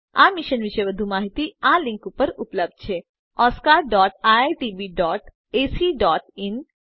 આ મિશન વિશે વધુ માહીતી આ લીંક ઉપર ઉપલબ્ધ છે oscariitbacઇન અને spoken tutorialorgnmeict ઇન્ટ્રો